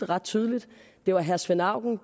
ret tydeligt det var herre svend auken